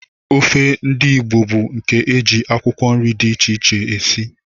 Ofe ndị Igbo bụ nke e ji akwụkwọ nri dị iche iche esi